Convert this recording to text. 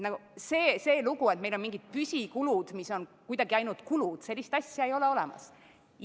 Sellist asja, et meil on mingid püsikulud, mis on kuidagi ainult kulud, ei ole olemas.